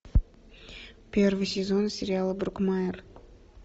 первый сезон сериала брокмайер